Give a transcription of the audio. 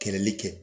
Kɛlɛli kɛ